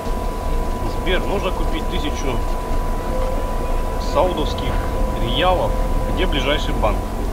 сбер нужно купить тысячу саудовских риялов где ближайший банк